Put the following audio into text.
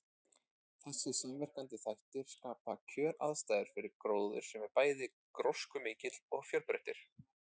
Þessir samverkandi þættir skapa kjöraðstæður fyrir gróður sem er bæði gróskumikill og fjölbreyttur.